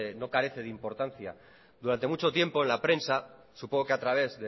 no carece de importancia durante mucho tiempo la prensa supongo que a través